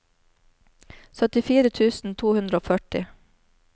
syttifire tusen to hundre og førti